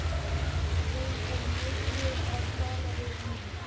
Hún er niðri að tala við ömmu.